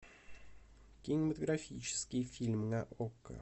кинематографический фильм на окко